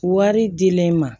Wari dilen ma